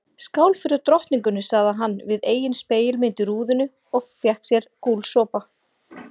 Skál fyrir drottningunni sagði hann við eigin spegilmynd í rúðunni og fékk sér gúlsopa.